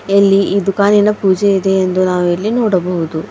ಇಲ್ಲಿ ಈ ದುಖಾನಿನ ಪೂಜೆ ಇದೆ ಎಂದು ನಾವು ಇಲ್ಲಿ ನೋಡಬಹುದು .